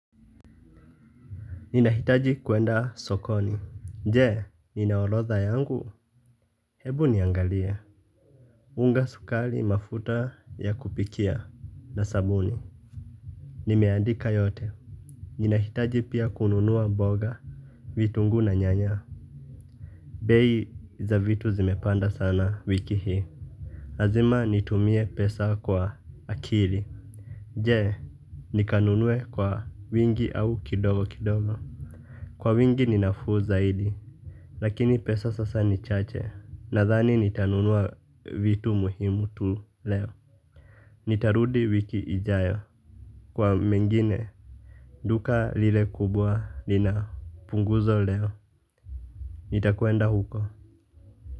Nina hitaji kuenda sokoni je ninaorodha yangu hebu niangalia. Unga sukari mafuta ya kupikia na sabuni. Nimeandika yote. Ninahitaji pia kununua mboga. Vitungu na nyanya. Bei za vitu zimepanda sana wiki hii lazima nitumie pesa kwa akili je nikanunue kwa wingi au kidogo kidogo. Kwa wingi ninafu zaidi. Lakini pesa sasa ni chache. Nadhani nitanunua vitu muhimu tu leo. Nitarudi wiki ijayo kwa mengine duka lile kubwa lina punguzo leo. Nitakwenda huko.